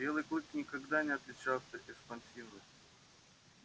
белый клык никогда не отличался экспансивностью